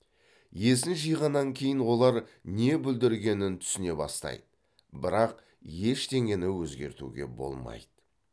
есін жиғаннан кейін олар не бүлдіргенін түсіне бастайды бірақ ештеңені өзгертуге болмайды